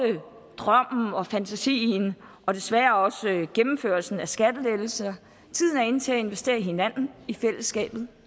drømmen og fantasien og desværre også gennemførelsen af skattelettelser tiden er inde til at investere i hinanden i fællesskabet